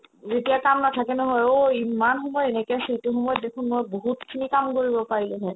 যেতিয়া তাৰ নাথাকে নহয় ঐ ইম্মান সময় এনেকে সেইটো সময়ত দেখো নহয় বহুতখিনি কাম কৰিব পাৰিলো হৈ